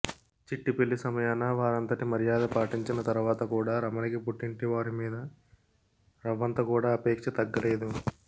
చిట్టి పెళ్ళి సమయాన వారంతటి మర్యాద పాటించిన తరవాత కూడా రమణికి పుట్టింటివారి మీద రవ్వంతకూడా ఆపేక్ష తగ్గలేదు